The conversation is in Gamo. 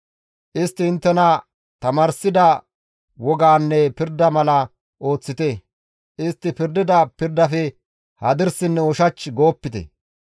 Istti inttena tamaarsida wogaanne pirda mala ooththite; istti pirdida pirdafe hadirsinne ushach goopite.